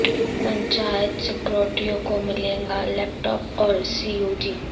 پنچایت سکریٹریوں کو ملے گا لیپ ٹاپ اور سی یو جی